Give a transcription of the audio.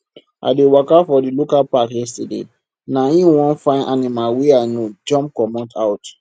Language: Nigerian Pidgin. i dey waka for di local park yesterday na him one fine animal wey i no know jump come out